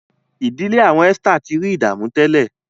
ìdílé awọn Esther tí rí ìdààmú ìdílé.